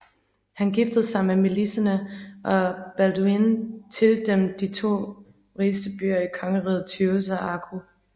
Han giftede sig med Melisende og Balduin tildelte dem de to rigeste byer i kongeriget Tyrus og Akko